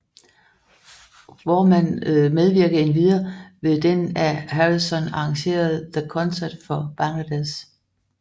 Voorman medvirkede endvidere ved den af Harrison arrangerede The Concert for Bangladesh